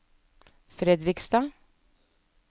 Fredrikstad